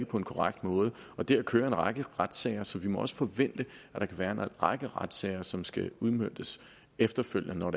på en korrekt måde og der kører en række retssager så vi må også forvente at der kan være en række retssager som skal udmøntes efterfølgende